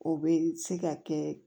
O bɛ se ka kɛ